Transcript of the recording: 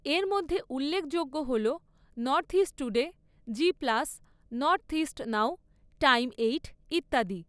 এর মধ্যে উল্লেখযোগ্য হল north east today, Zee plus, northeast now, time eight ইত্যাদি।